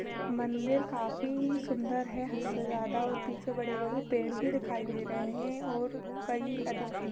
मंदिर काफी सुंदर है हद से ज्यादा और पीछे बड़े-बड़े पेड़ भी दिखाई दे रहे हैं और कई अधिक सुंद --